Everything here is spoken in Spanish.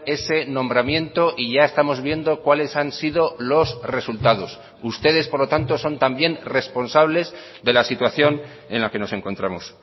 ese nombramiento y ya estamos viendo cuáles han sido los resultados ustedes por lo tanto son también responsables de la situación en la que nos encontramos